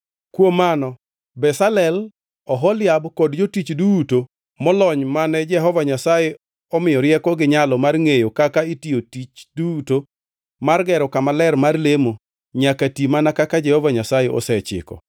Kuom mano Bezalel, Oholiab kod jotich duto molony mane Jehova Nyasaye omiyo rieko gi nyalo mar ngʼeyo kaka itiyo tich duto mar gero kama ler mar lemo nyaka ti mana kaka Jehova Nyasaye osechiko.”